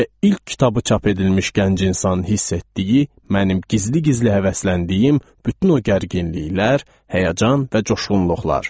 Və ilk kitabı çap edilmiş gənc insan hiss etdiyi mənim gizli-gizli həvəsləndiyim bütün o gərginliklər, həyəcan və coşğunluqlar.